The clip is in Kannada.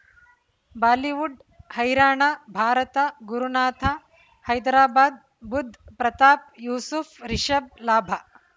ಬಾಲಿವುಡ್ ಹೈರಾಣ ಭಾರತ ಗುರುನಾಥ ಹೈದರಾಬಾದ್ ಬುಧ್ ಪ್ರತಾಪ್ ಯೂಸುಫ್ ರಿಷಬ್ ಲಾಭ